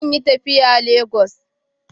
Zan yi tafiya Lagos.